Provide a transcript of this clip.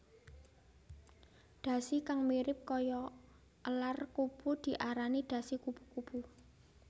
Dhasi kang mirip kaya elar kupu diarani dhasi kupu kupu